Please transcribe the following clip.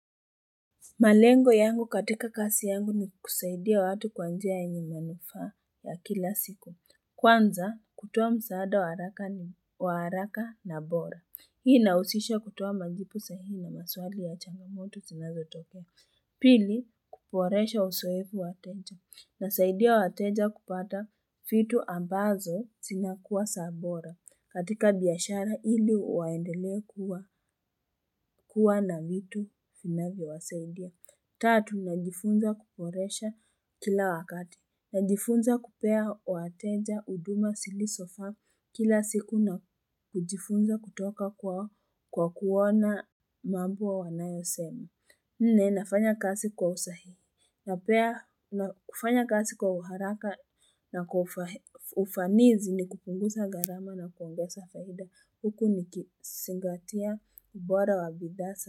Malengo yangu katika kasi yangu ni kusaidia watu kwa njia yenye manufaa ya kila siku. Kwanza kutoa msaada waaraka wa haraka na bora. Hii inahusisha kutoa majibu sahi na maswali ya changamoto zinazotokesa Pili kuboresha uzoefu wa wateja. Inasaidia wateja kupata vitu ambazo sinakuwa za bora. Katika biashara ili waendelee kuwa na vitu vinavyowasaidia. Tatu, najifunza kuboresha kila wakati. Najifunza kupea wateja, huduma, zilizofaa, kila siku na kujifunza kutoka kwao kwa kuona mambo wanayosemi. Nne, nafanya kazi kwa usahihi. Napea, na kufanya kazi kwa uharaka na kwa ufanizi ni kupunguza gharama na kuongeza faida. Huku nikizingatia ubora wa bidhaa.